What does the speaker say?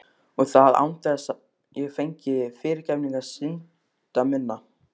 Og það án þess ég fengi fyrirgefningu synda minna.